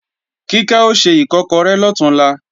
Kíkẹ́ o se Ìkọ́kọrẹ́ lọ̀túnla